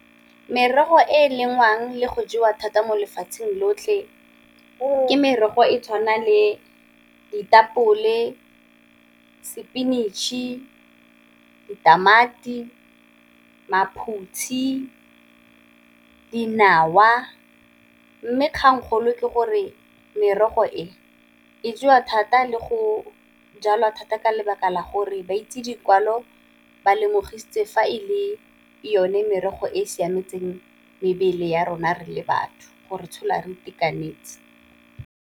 Merogo e e lengwang le go jewa thata mo lefatsheng lotlhe ke merogo e tshwana le ditapole, spinach-e, ditamati, maphutshi, dinawa, mme kgangkgolo ke gore merogo e e jewa thata le go jalwa thata ka lebaka la gore ba itse dikwalo ba lemogisitse fa e le yone merogo e e siametseng mebele ya rona re le batho gore tshola re itekanetse.